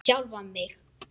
Sjálfan mig?